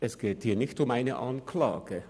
Es geht hier nicht um eine Anklage.